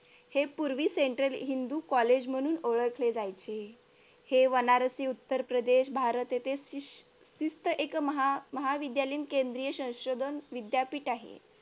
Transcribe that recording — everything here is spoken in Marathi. हे पूर्वी central हिंदू कॉलेज म्हणून ओळखले जायचे हे बनारसी उत्तर प्रदेश भारत येथे शिस्त एक महाविद्यालयीन केंद्रीय संशोधन विद्यापीठ आहे.